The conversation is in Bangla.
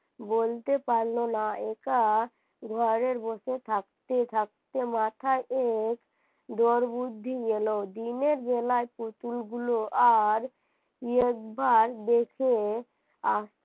বলতে পারলো না একা, ঘরে বসে থাকতে থাকতে মাথা ওর বুদ্ধি গেল দিনের বেলা পুতুলগুলো আর একবার দেখে